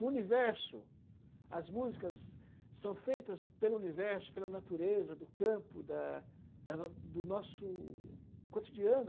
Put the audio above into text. No universo, as músicas são feitas pelo universo, pela natureza, do campo, da da do nosso cotidiano.